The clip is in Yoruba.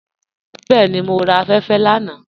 Bẹẹni, mọ ra afẹ́fẹ́ lánà.